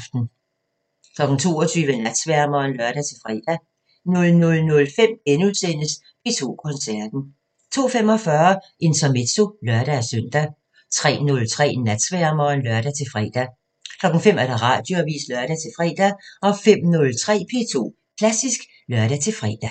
22:00: Natsværmeren (lør-fre) 00:05: P2 Koncerten * 02:45: Intermezzo (lør-søn) 03:03: Natsværmeren (lør-fre) 05:00: Radioavisen (lør-fre) 05:03: P2 Klassisk (lør-fre)